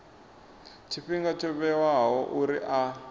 tshifhinga tsho vhewaho uri a